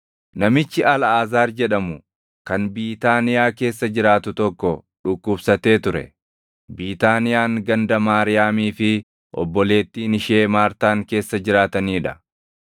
Namichi Alʼaazaar jedhamu kan Biitaaniyaa keessa jiraatu tokko dhukkubsatee ture. Biitaaniyaan ganda Maariyaamii fi obboleettiin ishee Maartaan keessa jiraatanii dha.